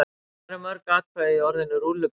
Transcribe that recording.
Hvað eru mörg atkvæði í orðinu rúllupylsa?